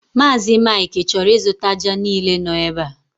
Mazị Mike chọrọ ịzụta ájá niile no ebe a